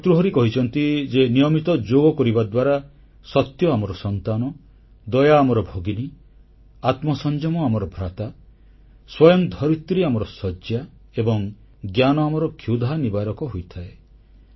ଭର୍ତ୍ତୃହରି କହିଛନ୍ତି ଯେ ନିୟମିତ ଯୋଗ କରିବା ଦ୍ୱାରା ସତ୍ୟ ଆମର ସନ୍ତାନ ଦୟା ଆମର ଭଗିନୀ ଆତ୍ମସଂଯମ ଆମର ଭ୍ରାତା ସ୍ୱୟଂ ଧରିତ୍ରୀ ଆମର ଶଯ୍ୟା ଏବଂ ଜ୍ଞାନ ଆମର କ୍ଷୁଧାନିବାରକ ହୋଇଥାଏ